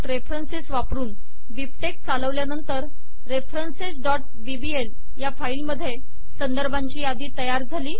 bibtexरेफरन्स वापरून बिबटेक्स चालवल्यानंतर referencesबीबीएल या फाईल मध्ये संदर्भांची यादी तयार झाली